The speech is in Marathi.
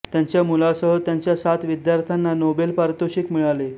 त्यांच्या मुलासह त्यांच्या सात विद्यार्थ्यांना नोबेल पारितोषिक मिळाले